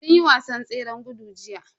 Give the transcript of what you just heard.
Sun yi wasan tseren gudu jiya.